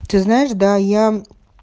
ты знаешь да я